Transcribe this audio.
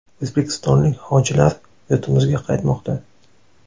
O‘zbekistonlik hojilar yurtimizga qaytmoqda.